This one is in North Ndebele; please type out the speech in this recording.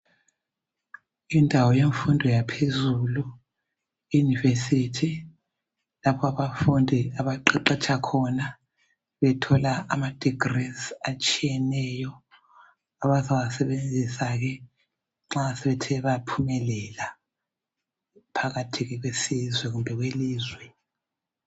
Indawo yemfundo yaphezulu iuniversity lapho abafundi abaqeqetsha khona bethola ama degrees atshiyeneyo abazawasebenzisa ke nxa sebethe baphumelela phakathi kwesizwe kumbe kwelizwe.